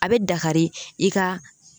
A be dakari i ka